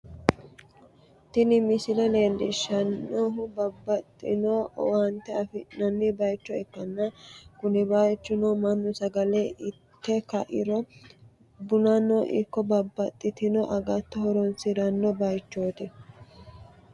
Tini msisle leellishshannohu babbaxxitino owaate afi'nanni bayicho ikkanna, kuni bayichono mannu sagale ite ka'iro bunano ikko babbaxxitino agatto horonsi'ranno bayichooti.